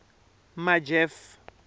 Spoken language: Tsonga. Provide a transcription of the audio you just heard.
majeff